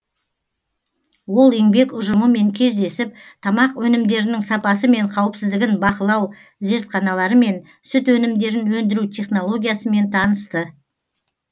ол еңбек ұжымымен кездесіп тамақ өнімдерінің сапасы мен қауіпсіздігін бақылау зертханаларымен сүт өнімдерін өндіру технологиясымен танысты